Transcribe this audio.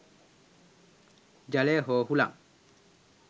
ජලය හෝ හුලං